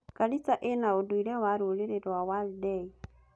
Garissa ĩna ũndũire wa rũrĩrĩ rwa Wardei.